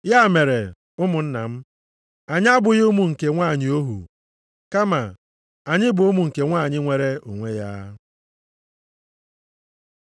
Ya mere, ụmụnna m, anyị abụghị ụmụ nke nwanyị ohu, kama anyị bụ ụmụ nke nwanyị nwere onwe ya.